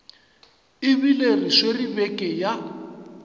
ebile re swere beke ya